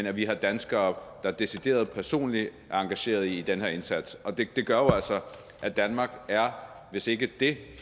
at vi har danskere der decideret personligt er engageret i den her indsats det gør jo altså at danmark er hvis ikke det